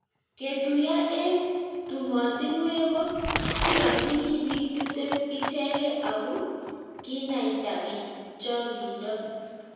ketuiyo eng' tumotinwek ko kiyonjini biik tiptem ichegei aku kinaita biik chang'indo